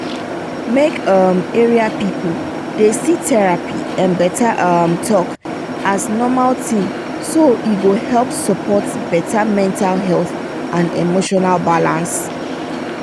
make um area pipu dey see therapy and better um talk as normal thing so e go help support better mental health and emotional balance.